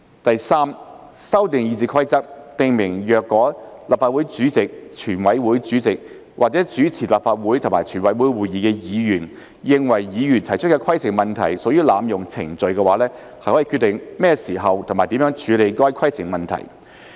第三，修訂《議事規則》，訂明若立法會主席、全委會主席或主持立法會及全委會會議的議員認為議員提出規程問題屬濫用程序，可決定何時及如何處理該規程問題。